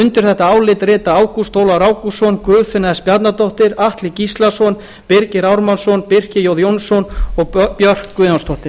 undir þetta álit rita ágúst ólafur ágústsson guðfinna s bjarnadóttir atli gíslason birgir ármannsson birkir j jónsson og björk guðjónsdóttir